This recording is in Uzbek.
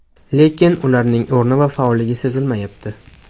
Lekin ularning o‘rni va faolligi sezilmayapti.